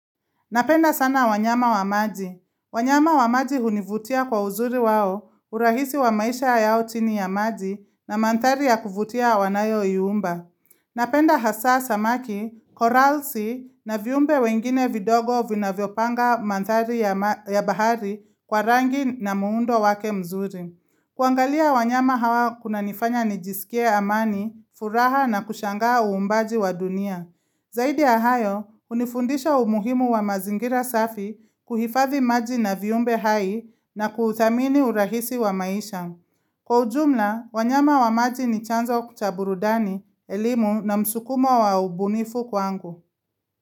Napenda sana wanyama wa maji. Wanyama wa maji hunivutia kwa uzuri wao, urahisi wa maisha yao chini ya maji na mandhari ya kuvutia wanayoiumba. Napenda hasa samaki, koralsi na viumbe wengine vidogo vinavyopanga mandhari ya bahari kwa rangi na muundo wake mzuri. Kuangalia wanyama hawa kunanifanya nijisikie amani, furaha na kushangaa uumbaji wa dunia. Zaidi ya hayo, hunifundisha umuhimu wa mazingira safi kuhifadhi maji na viumbe hai na kuthamini urahisi wa maisha. Kwa ujumla, wanyama wa maji ni chanzo cha burudani, elimu na msukumo wa ubunifu kwangu.